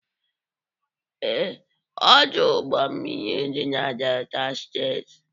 Ee, Ọdụ ụgbọ mmiri dị na Delta steeti.